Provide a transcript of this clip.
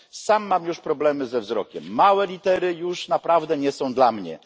Sam mam już problemy ze wzrokiem, małe litery już naprawdę nie są dla mnie.